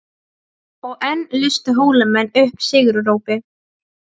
Og enn lustu Hólamenn upp sigurópi.